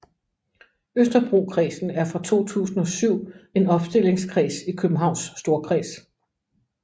Østerbrokredsen er fra 2007 en opstillingskreds i Københavns Storkreds